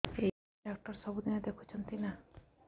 ଏଇ ଡ଼ାକ୍ତର ସବୁଦିନେ ଦେଖୁଛନ୍ତି ନା